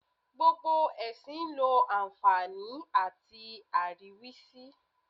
Gbogbo ẹ̀sìn ló àǹfààní àti àríwísí.